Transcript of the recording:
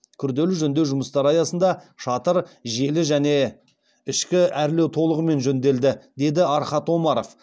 күрделі жөндеу жұмыстары аясында шатыр желі және ішкі әрлеу толығымен жөнделді деді архат омаров